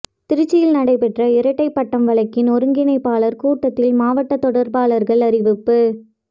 திருச்சியில் நடைபெற்ற இரட்டைப்பட்டம் வழக்கின் ஒருங்கிணைப்பாளர் கூட்டத்தில் மாவட்ட தொடர்பாளர்கள் அறிவிப்பு